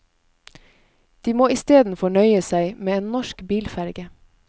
De må istedenfor nøye seg med en norsk bilferge.